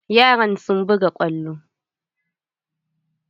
Yaran sun buga kwallo.